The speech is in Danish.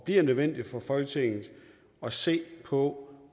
bliver nødvendigt for folketinget at se på